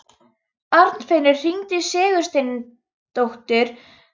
Arnfinnur, hringdu í Sigursteindór eftir níutíu og fimm mínútur.